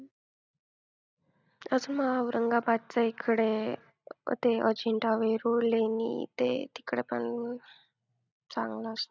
अजून औरंगाबादच्या हिकडे ते अजिंठा वेरूळ लेणी ते तिकडं पण चांगलं असतं.